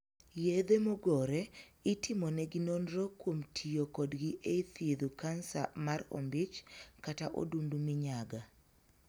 Yedhe mogore itimonegi nonro kuom tiyo kodgi e thiedho Kansa mar ombich kata odundu minyaga.